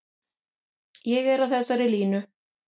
Ég er á þessari línu.